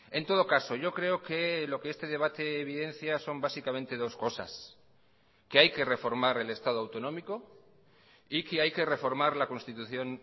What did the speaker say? en todo caso yo creo que lo que este debate evidencia son básicamente dos cosas que hay que reformar el estado autonómico y que hay que reformar la constitución